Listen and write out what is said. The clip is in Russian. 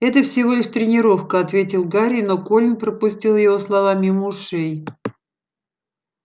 это всего лишь тренировка ответил гарри но колин пропустил его слова мимо ушей